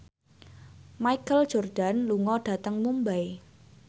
Michael Jordan lunga dhateng Mumbai